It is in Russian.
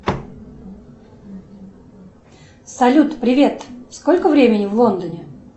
салют привет сколько времени в лондоне